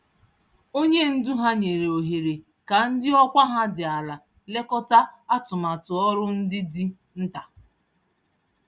Onye ndu ha nyèrè ohere ka ndị ọkwa ha dị àlà lekọta atụmatụ ọrụ ndị dị nta.